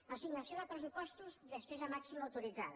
assignació de pressupostos després de màxima autoritzada